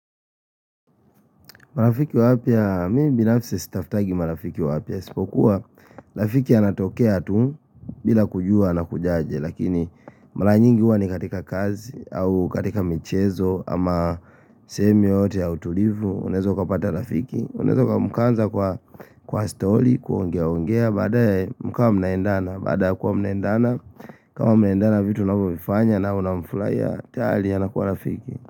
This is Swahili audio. Marafiki wapya, mimi binafsi sitafutangi marafiki wapya. iSipokuwa, rafiki anatokea tu, bila kujua anakujaje. Lakini, mara nyingi huwa ni katika kazi, au katika michezo, ama semi yote ya utulivu. Unaeza ukapata rafiki. Unaeza mkaanza kwa story, kuongea ongea, baadaye mkawa mnaendana. Baada ya kuwa mnaendana, kama mnaendana vitu mnavyofifanya na unamfurahia, tayari anakua rafiki.